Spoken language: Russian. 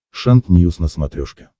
шант ньюс на смотрешке